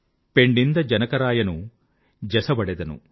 పెణ్ణింద జనకరాయను జసవడెదను